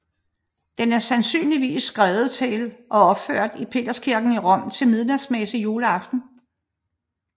Den er sandsynligvis skrevet til og opført i Peterskirken i Rom til midnatsmesse juleaften